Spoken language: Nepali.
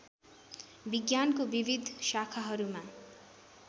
विज्ञानको विविध शाखाहरूमा